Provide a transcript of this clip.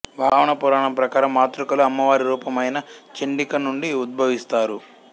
వామన పురాణాం ప్రకారం మాతృకలు అమ్మవారి రూపమైన చండిక నుండి ఉద్భవిస్తారు